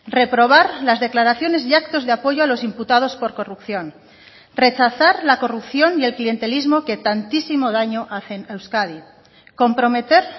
reprobar las declaraciones y actos de apoyo a los imputados por corrupción rechazar la corrupción y el clientelismo que tantísimo daño hacen a euskadi comprometer